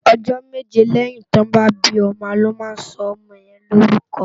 Òjò méjé lèyín òjò tò bá bi òmò lò má sò òmò yèn no órùkò